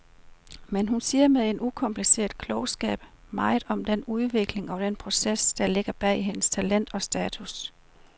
Men hun siger med en ukompliceret klogskab meget om den udvikling og den proces, der ligger bag hendes talent og status.